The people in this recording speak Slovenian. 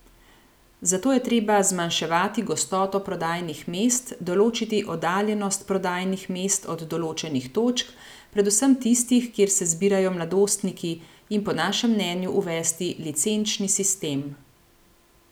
Zato je treba zmanjševati gostoto prodajnih mest, določiti oddaljenost prodajnih mest od določenih točk, predvsem tistih, kjer se zbirajo mladostniki, in po našem mnenju uvesti licenčni sistem.